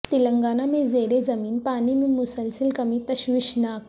تلنگانہ میں زیر زمین پانی میں مسلسل کمی تشویشناک